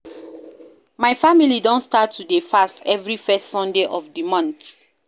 My family don start to dey fast every first Sunday of the month